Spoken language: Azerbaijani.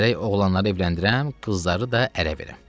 Gərək oğlanları evləndirəm, qızları da ərə verəm.